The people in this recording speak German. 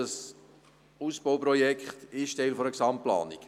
Das Ausbauprojekt ist auch Teil einer Gesamtplanung.